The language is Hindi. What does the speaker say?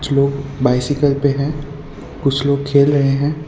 लोग बाइसाइकल पे है कुछ लोग खेल रहे है।